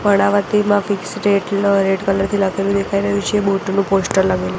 કર્ણાવતીમાં fix rate લ red colour થી લખેલુ દેખાય રહ્યું છે બોટ નું પોસ્ટર લગેલુ--